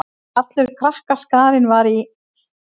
Allur krakkaskarinn var í